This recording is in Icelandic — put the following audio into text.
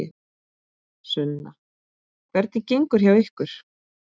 Sunna: Hvernig gengur hjá ykkur?